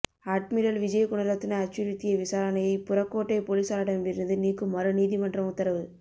admiral Wijegunaratne அச்சுறுத்திய விசாரணையை புறக்கோட்டை பொலிசாரிடமிருந்து நீக்குமாறு நீதமன்றம் உத்தரவு